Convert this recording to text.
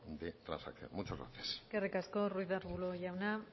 de transacción muchas gracias eskerrik asko ruiz de arbulo jauna